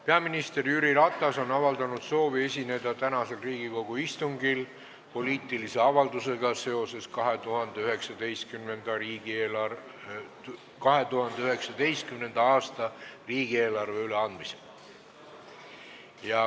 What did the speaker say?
Peaminister Jüri Ratas on avaldanud soovi esineda tänasel Riigikogu istungil poliitilise avaldusega seoses 2019. aasta riigieelarve eelnõu üleandmisega.